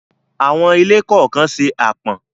Àwọn ilé kọ̀ọ̀kan se àpọ̀n.